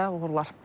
İşinizdə uğurlar.